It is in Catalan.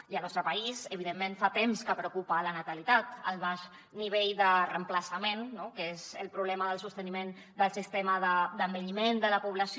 i al nostre país evidentment fa temps que preocupa la natalitat el baix nivell de reemplaçament que és el problema del sosteniment del sistema d’envelliment de la població